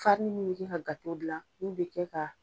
Farini min be kɛ ka gato gila ulo be kɛ ka